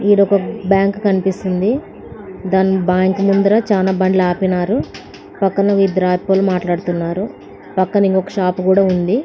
ఈడొక bank కనిపిస్తుంది దాని bank ముందర చాలా బండ్లు ఆపినారు పక్కన ఒ ఇద్దరు ఆపుకొని మాట్లాడుతున్నారు పక్కన ఇంకోక షాపు కూడా ఉంది.